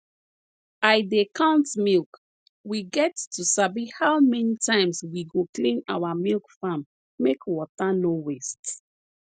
i dey count milk we get to sabi how many times we go clean our milk farm make water nor waste